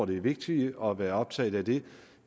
det er vigtigere at være optaget af det